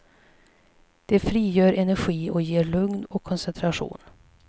De frigör energi och ger lugn och koncentration.